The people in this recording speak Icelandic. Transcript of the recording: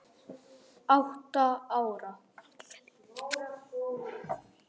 Allir vildu heyra sem mest.